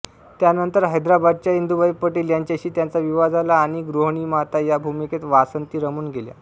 त्यानंतर हैदराबादच्या इंदुभाई पटेल यांच्याशी त्यांचा विवाह झाला आणि गृहिणीमाता या भूमिकेत वासंती रमून गेल्या